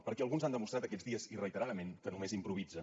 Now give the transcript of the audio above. perquè alguns han demostrat aquests dies i reiteradament que només improvisen